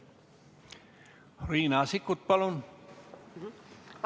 Riina Sikkut, palun!